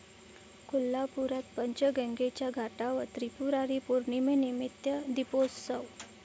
कोल्हापुरात पंचगंगेच्या घाटावर त्रिपुरारी पौर्णिमेनिमित्त दीपोत्सव